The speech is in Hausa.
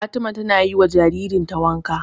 Fatima ta na yi wa jaririn ta wanka